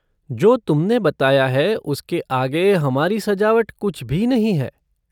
जो तुमने बताया है उसके आगे हमारी सजावट कुछ भी नहीं है।